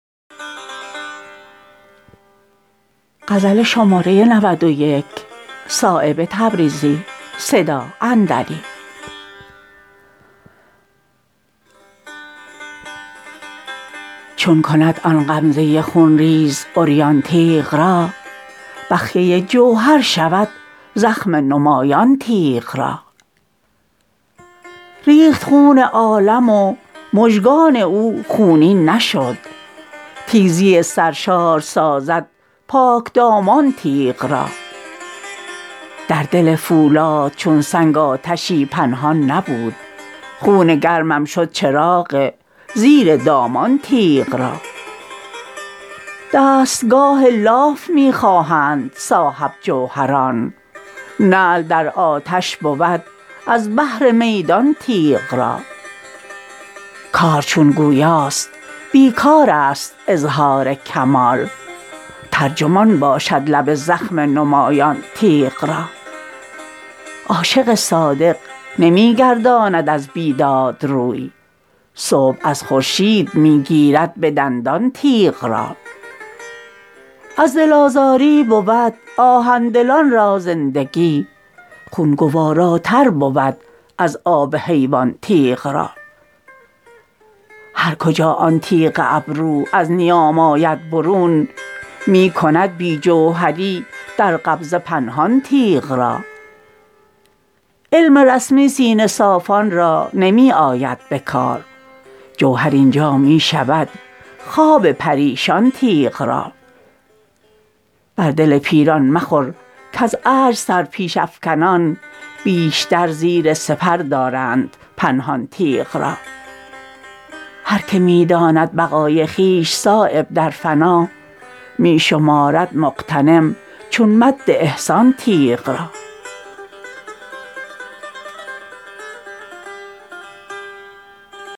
چون کند آن غمزه خونریز عریان تیغ را بخیه جوهر شود زخم نمایان تیغ را ریخت خون عالم و مژگان او خونین نشد تیزی سرشار سازد پاکدامان تیغ را در دل فولاد چون سنگ آتشی پنهان نبود خون گرمم شد چراغ زیر دامان تیغ را دستگاه لاف می خواهند صاحب جوهران نعل در آتش بود از بهر میدان تیغ را کار چون گویاست بیکارست اظهار کمال ترجمان باشد لب زخم نمایان تیغ را عاشق صادق نمی گرداند از بیداد روی صبح از خورشید می گیرد به دندان تیغ را از دل آزاری بود آهن دلان را زندگی خون گواراتر بود از آب حیوان تیغ را هر کجا آن تیغ ابرو از نیام آید برون می کند بی جوهری در قبضه پنهان تیغ را علم رسمی سینه صافان را نمی آید به کار جوهر اینجا می شود خواب پریشان تیغ را بر دل پیران مخور کز عجز سرپیش افکنان بیشتر زیر سپر دارند پنهان تیغ را هر که می داند بقای خویش صایب در فنا می شمارد مغتنم چون مد احسان تیغ را